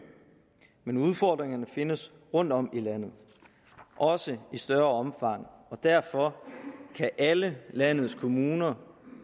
men udfordringerne findes rundtom i landet også i større omfang og derfor kan alle landets kommuner